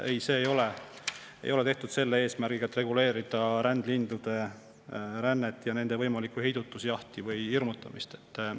Ei, see ei ole tehtud selle eesmärgiga, et reguleerida rändlindude rännet, nende võimalikku heidutusjahti või hirmutamist.